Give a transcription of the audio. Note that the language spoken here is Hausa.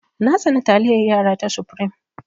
Na tsani taliyar yara ta supreme.